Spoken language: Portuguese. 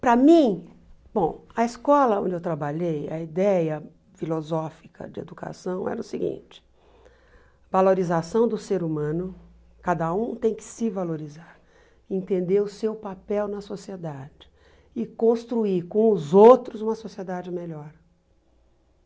Para mim, bom a escola onde eu trabalhei, a ideia filosófica de educação era o seguinte, valorização do ser humano, cada um tem que se valorizar, entender o seu papel na sociedade e construir com os outros uma sociedade melhor.